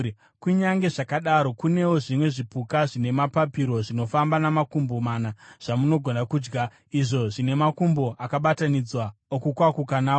Kunyange zvakadaro, kunewo zvimwe zvipuka zvine mapapiro zvinofamba namakumbo mana zvamunogona kudya, izvo zvine makumbo akabatanidzwa okukwakuka nawo.